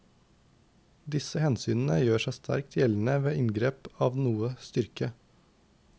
Disse hensynene gjør seg sterkt gjeldende ved inngrep av noe styrke.